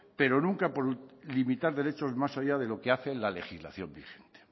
pero nunca por limitar derechos más allá de lo que hace la legislación vigente